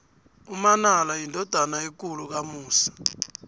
umanala yindodana ekulu kamusi